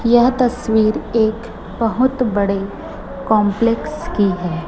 यह तस्वीर एक बहोत बड़े कॉम्प्लेक्स की है।